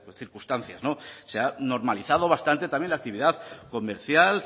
circunstancias se ha normalizado bastante también la actividad comercial